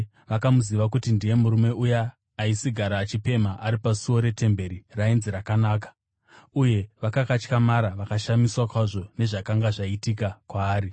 vakamuziva kuti ndiye murume uya aisigara achipemha ari pasuo retemberi rainzi Rakanaka, uye vakakatyamara vakashamiswa kwazvo nezvakanga zvaitika kwaari.